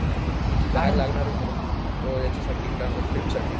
हा तर ती बॅग लागणार आहे मला याच्यासाठी काय म्हणतात ट्रीप साठी